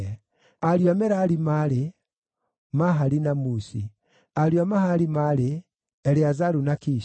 Ariũ a Merari maarĩ: Mahali na Mushi. Ariũ a Mahali maarĩ: Eleazaru na Kishu.